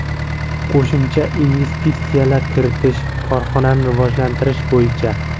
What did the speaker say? Qo‘shimcha investitsiyalar kiritish, korxonani rivojlantirish bo‘yicha.